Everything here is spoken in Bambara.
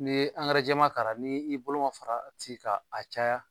N'i ye jɛman k'a ra ni i bolo ma faraati ka a caya